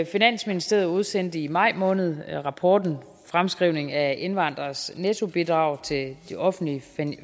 finansministeriet udsendte i maj måned rapporten fremskrivning af indvandreres nettobidrag til de offentlige